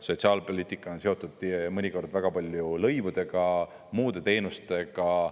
Sotsiaalpoliitika on seotud mõnikord väga palju lõivudega ja muude teenustega.